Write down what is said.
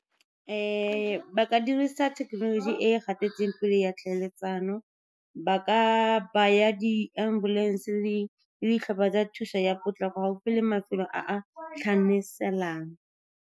Ba ka dirisa thekenoloji e e gatetseng pele ya tlhaeletsano, ba ka baya di-ambulance le ditlhopha tsa thuso ya potlako gaufi le mafelo a a tlhanaselang.